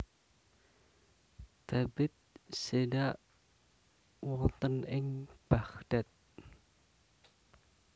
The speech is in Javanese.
Thabit seda wonten ing Baghdad